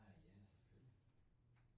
Ah ja selvfølgelig